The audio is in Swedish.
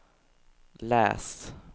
läs